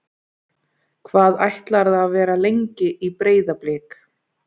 Hvað ætlarðu að vera lengi í Breiðablik?